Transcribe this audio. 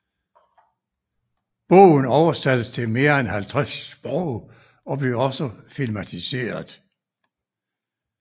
Bogen oversattes til mere end 50 sprog og blev også filmatiseret